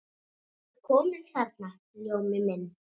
Ertu kominn þarna, Ljómi minn.